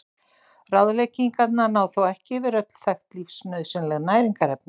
Ráðleggingarnar ná þó ekki yfir öll þekkt lífsnauðsynleg næringarefni.